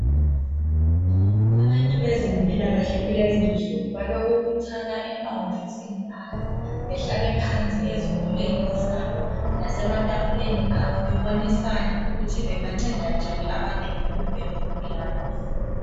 Abantu bezempilakahle kulezinsuku balokubuthana emawofisini abo bahlale phansi ezitulweni zabo lasematafuleni abo babonisane ukuthi benganceda njani abantu ukuthi babe lempilakahle.